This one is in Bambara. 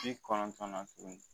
Ji kɔnɔntɔn na tuguni